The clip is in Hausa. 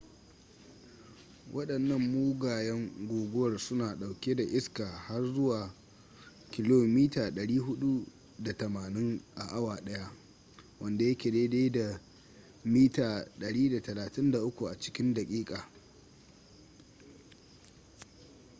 wadannan mugayen guguwar suna ɗauke da iska har zuwa 480 km/h 133 m/s; 300 mph